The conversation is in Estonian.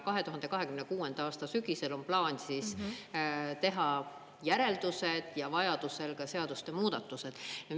2026. aasta sügisel on plaan teha järeldused ja vajadusel ka seaduste muudatused.